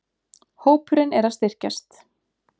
Hópurinn er að styrkjast.